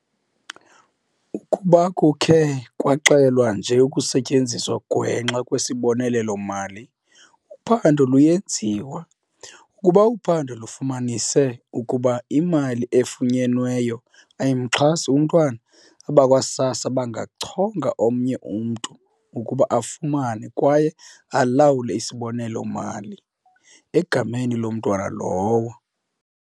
"Ukuba kukhe kwaxelwa nje ukusetyenziswa ngwenxa kwesibonelelo-mali, uphando luyenziwa. Ukuba uphando lufumanise ukuba imali efunyenweyo ayimxhasi umntwana, abakwa-SASSA bangachonga omnye umntu ukuba afumane kwaye alawule isibonelelo-mali egameni lomntwana lowo."